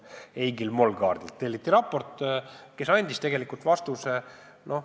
Eigil Molgaardilt telliti raport ja tema andis tegelikult vastuse.